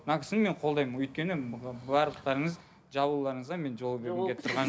мына кісіні мен қолдаймын өйткені барлықтарыңыз жабылуларыңызға мен жол бергім кеп тұрған